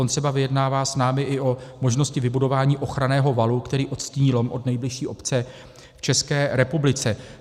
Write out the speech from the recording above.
On třeba vyjednává s námi i o možnosti vybudování ochranného valu, který odstíní lom od nejbližší obce v České republice.